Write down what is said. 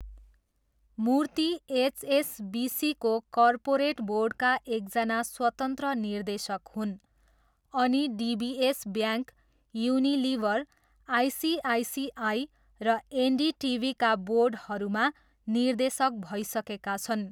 मूर्ति एचएसबिसीको कर्पोरेट बोर्डका एकजना स्वतन्त्र निर्देशक हुन् अनि डिबिएस ब्याङ्क, युनिलिभर, आइसिआइसिआई र एनडिटिभीका बोर्डहरूमा निर्देशक भइसकेका छन्।